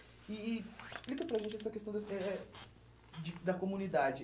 E e explica para a gente essa questão da eh eh de da comunidade.